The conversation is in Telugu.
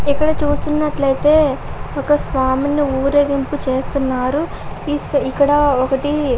ఇక్కడ చూస్తున్నట్లయితే ఒక స్వామిని ఊరేగింపు చేస్తున్నారు ఇక్కడ ఒకటి --